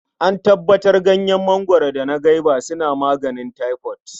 An tabbatar Ganyen mangwaro da na gwaiba suna maganin taifot.